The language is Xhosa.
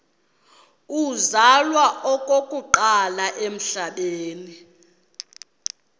uzalwa okokuqala emhlabeni